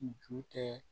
Ju tɛ